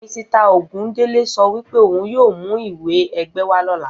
Misita Ògúndélé so wípé ohun yíò mú ìwé ẹgbẹ́ wá lóla